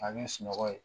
K'a kɛ sunɔgɔ ye